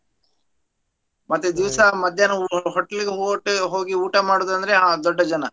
ಮತ್ತೆ ದಿವ್ಸಾ ಮದ್ಯಾನ hotel~ hotel ಗ್ ಹೋಟ~ ಹೋಗಿ ಮಾಡೋದಂದ್ರೆ ಆ ದೊಡ್ಡ ಜನ.